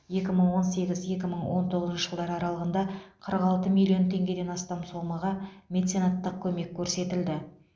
екі мың он сегіз екі мың он тоғызыншы жылдар аралығында қырық алты миллион теңгеден астам сомаға меценаттық көмек көрсетілді